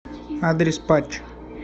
адрес патч